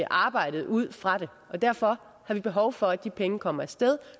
arbejdede ud fra det derfor har vi behov for at de penge kommer af sted